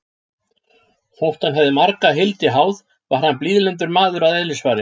Þótt hann hefði marga hildi háð, var hann blíðlyndur maður að eðlisfari.